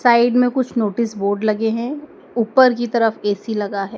Side में कुछ notice board लगे है ऊपर की तरफ ए_सी लगा है।